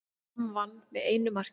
Fram vann með einu marki